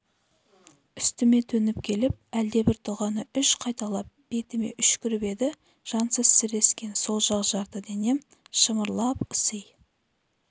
үстіме төніп келіп әлдебір дұғаны үш қайталап бетіме үшкіріп еді жансыз сірескен сол жақ жарты денем шымырлап ыси